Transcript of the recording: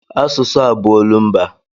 Asụsụ a bụ olumba.